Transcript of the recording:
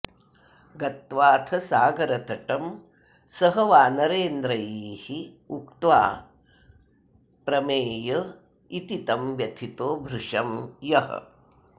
गत्वाथ सागरतटं सह वानरेन्द्रैः उक्त्वाप्रमेय इति तं व्यथितो भृशं यः